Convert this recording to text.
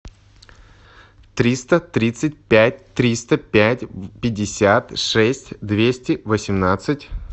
триста тридцать пять триста пять пятьдесят шесть двести восемнадцать